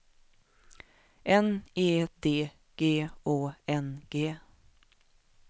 N E D G Å N G